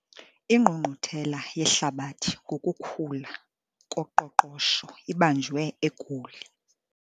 Ingqungquthela yehlabathi ngokukhula koqoqosho ibanjwe eGoli.